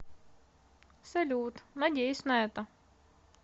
салют надеюсь на это